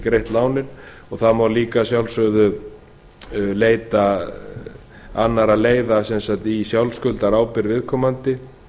ekki greitt lánið það má líka að sjálfsögðu leita annarra leiða sem sagt í sjálfsskuldarábyrgð viðkomandi